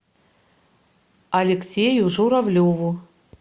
алексею журавлеву